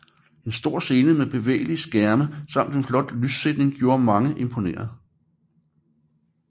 En stor scene med bevægelige skærme samt en flot lyssætning gjorde mange imponerede